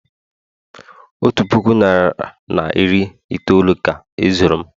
otu puku naira na iri itoolu ka e zuru m